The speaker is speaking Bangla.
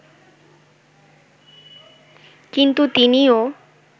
কিন্তু তিনিও